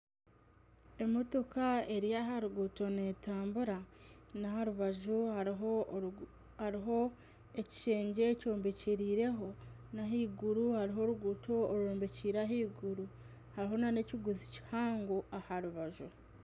Emotoka eri aha ruguuto neetambura na aha rubaju hariho ekishengye kyombekyereireho n'aha iguru hariho oruguuto rwombekyereire ahaiguru hariho nana ekiguzi kihango aha rubaju